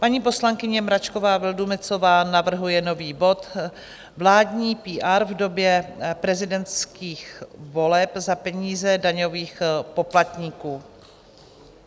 Paní poslankyně Mračková Vildumetzová navrhuje nový bod Vládní PR v době prezidentských voleb za peníze daňových poplatníků.